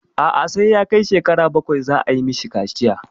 A'a sai ya kai shekara bakwai za a yi mishi kaciya.